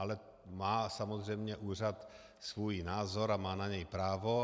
Ale má samozřejmě úřad svůj názor a má na něj právo.